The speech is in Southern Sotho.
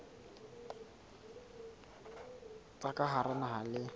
tsa ka hara naha le